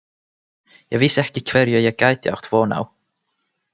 Ég vissi ekki hverju ég gæti átt von á.